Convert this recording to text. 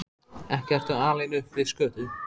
Ekki ertu alinn upp við skötu?